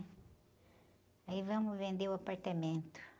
Aí vamos vender o apartamento.